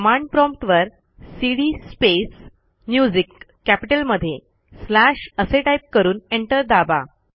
command prompt वरcd space music M कॅपिटलमध्ये slashअसे टाईप करून एंटर दाबा